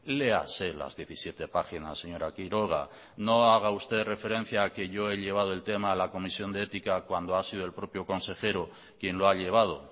léase las diecisiete páginas señora quiroga no haga usted referencia a que yo he llevado el tema a la comisión de ética cuando ha sido el propio consejero quien lo ha llevado